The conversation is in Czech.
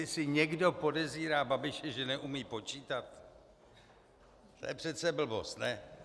Jestli někdo podezírá Babiše, že neumí počítat, to je přece blbost, ne?